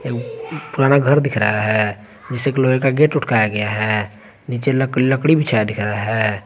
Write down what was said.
पुराना घर दिख रहा है जिसमें लोहे का गेट लटकाया गया है नीचे लकड़ी बिछा दिख रहा है।